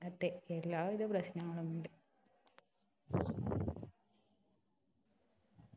ഇങ്ങനത്തെ എല്ലാവിധ പ്രശ്നങ്ങളും ഉണ്ട്